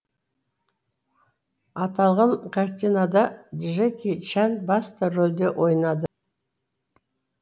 аталған картинада джеки чан басты рөлде ойнады